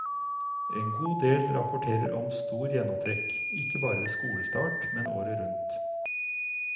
En god del rapporterer om stor gjennomtrekk, ikke bare ved skolestart, men året rundt.